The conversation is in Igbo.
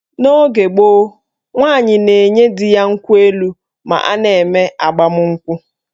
N'oge gboo, nwaanyị na-enye di ya nkwụ elu ma a na-eme agbamụnkwụ